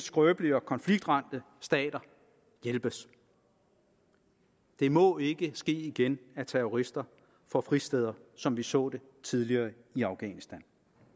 skrøbelige og konfliktramte stater hjælpes det må ikke ske igen at terrorister får fristeder som vi så det tidligere i afghanistan